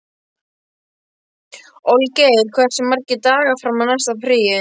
Olgeir, hversu margir dagar fram að næsta fríi?